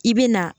I bɛ na